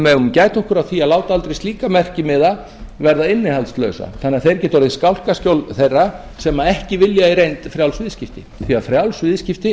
megum gæta okkur á því að láta aldrei slíka merkimiða verða innihaldslausa þannig að þeir geti verið skálkaskjól þeirra sem ekki vilja í reynd frjáls viðskipti því að frjáls viðskipti